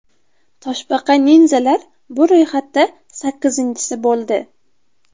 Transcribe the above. Toshbaqa-ninzalar bu ro‘yxatda sakkizinchisi bo‘ldi.